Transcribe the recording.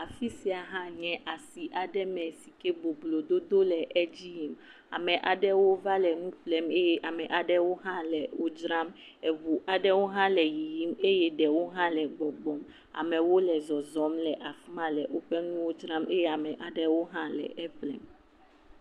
Afi sia nye asi aɖe sike boblo dodo le edzi yiyim. Ame aɖewo va le nu ƒlem eye ame aɖewo hã le nu dzram eɔu aɖewo le yiyim eye ɖewo hã le gbɔgbɔm. Amewo hã le yiyim , gbɔgbɔm le woƒe nuwo dzram eye ame aɖewo le eƒlem.